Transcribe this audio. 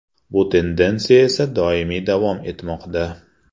Bu tendensiya esa doimiy davom etmoqda.